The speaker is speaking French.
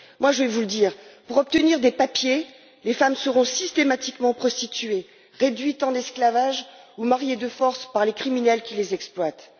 Je vais vous le dire pour obtenir des papiers, les femmes seront systématiquement prostituées, réduites en esclavage ou mariées de force par les criminels qui les exploitent.